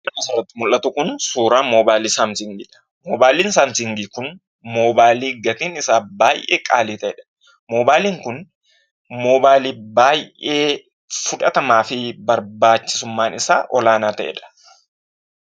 Suurri asirratti mul'atu kun suuraa moobaayilii samsiingiidha. Moobaayiliin samsiingii kun moobayilii gatiin isaa baay'ee qaalii ta'edha. Moobaayiliin kun moobaayilii baay'ee fudhatamaa fi barbaachisummaan isaa olaanaa ta'edha.